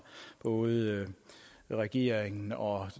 både regeringen og